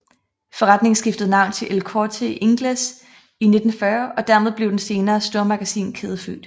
Forretningen skiftede navn til El Corte Inglés i 1940 og dermed blev den senere stormagasinkæde født